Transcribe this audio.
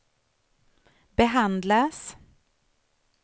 behandlas